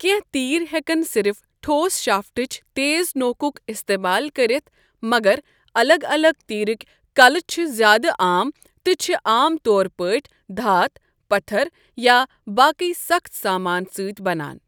کینٛہہ تیر ہیکن صرف ٹھوس شافٹٕچ تیز نوکُک استعمال کٔرتھ مگر الگ الگ تیرٕک کلہٕ چھِ زیادٕ عام تہٕ چھِ عام طور پٲٹھۍ دھات، پتھر، یا باقی سَخٕت سامان سۭتۍ بَنان۔